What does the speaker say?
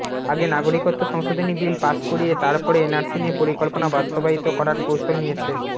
আগে নাগরিকত্ব সংশোধনী বিল পাশ করিয়ে তার পরে এনআরসি নিয়ে পরিকল্পনা বাস্তবায়িত করার কৌশল নিয়েছে